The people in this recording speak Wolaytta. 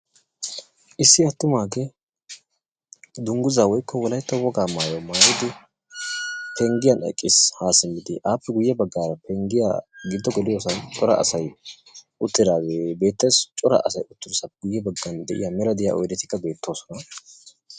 Issi atummagge dunguzza woykko wolaytta woggaa maayuwaa maayidi penggiyan eqqis ha simid, appe guyee bagara pegiyaa giddo geliyossan cora asay uttidage beettes cora asay uttiyossan guye baggan de'iya mella diyaa cora oydettikka beettosona.